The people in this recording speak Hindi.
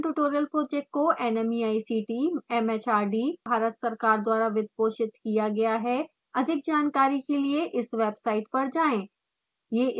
स्पोकन ट्यूटोरियल प्रोजेक्ट को nmeict mhrd भारत सरकार द्वारा वित्त पोषित किया गया है